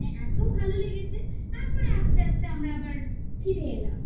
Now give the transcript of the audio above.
মানে এত ভালো লেগেছে তারপরে আস্তে আস্তে আমরা আবার ফিরে এলাম